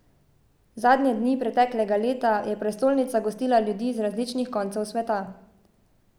Zadnje dni preteklega leta je prestolnica gostila ljudi z različnih koncev sveta.